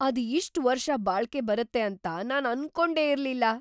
ಅದು ಇಷ್ಟ್ ವರ್ಷ ಬಾಳ್ಕೆ ಬರತ್ತೆ ಅಂತ ನಾನ್‌ ಅನ್ಕೊಂಡೆ ಇರ್ಲಿಲ್ಲ.